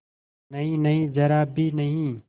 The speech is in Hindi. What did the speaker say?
नहींनहीं जरा भी नहीं